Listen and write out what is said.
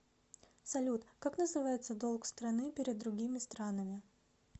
салют как называется долг страны перед другими странами